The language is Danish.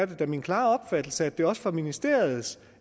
det da min klare opfattelse at det også var ministeriets